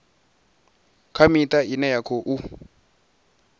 kha miṱa ine ya khou